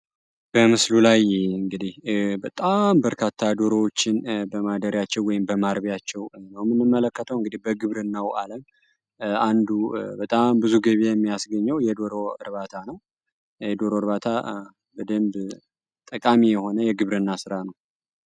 በምስሉ ላይ እንግዲህ በጣም በርካታ ደሮዎችን በማደሪያቸው ወይንም በማርቢያቸው ነው የምንመለከተው በግብርናው አለም አንዱ በጣም ብዙ ጊቢ የሚያስገኘው የዶሮ እርባታ ነው። የዶሮ እርባታ በጣም ጠቃሚ የሆነ የግብርና ስራ ነው።